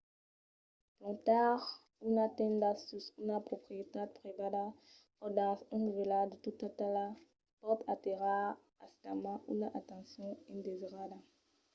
plantar una tenda sus una proprietat privada o dins una vila de tota talha pòt atirar aisidament una atencion indesirada